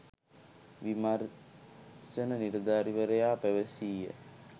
විමර්ශන නිලධාරිවරයා පැවසීය.